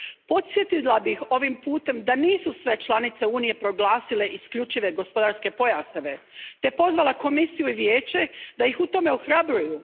Podsjetila bih ovim putem da nisu sve članice Unije proglasile isključive gospodarske pojaseve i pozvala Komisiju i Vijeće da ih u tome ohrabruju.